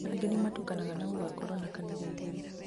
angĩ nĩmatũkanaga na gũgakorwo na kanitha igĩrĩ